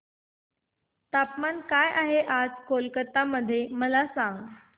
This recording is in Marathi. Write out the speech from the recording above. तापमान काय आहे आज कोलकाता मध्ये मला सांगा